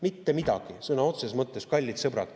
Mitte midagi, sõna otseses mõttes, kallid sõbrad.